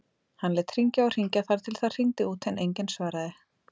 Hann lét hringja og hringja þar til það hringdi út en enginn svaraði.